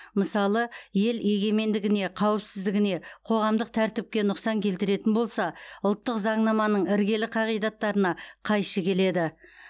мысалы ел егенмендігіне қауіпсіздігіне қоғамдық тәртіпке нұқсан келтіретін болса ұлттық заңнаманың іргелі қағидаттарына қайшы келеді